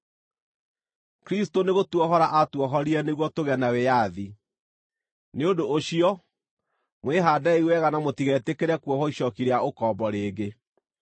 Kristũ nĩgũtuohora aatuohorire nĩguo tũgĩe na wĩyathi. Nĩ ũndũ ũcio, mwĩhaandei wega na mũtigetĩkĩre kuohwo icooki rĩa ũkombo rĩngĩ.